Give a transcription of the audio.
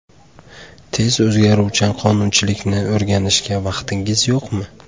Tez o‘zgaruvchan qonunchilikni o‘rganishga vaqtingiz yo‘qmi?